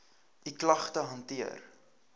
u klagte hanteer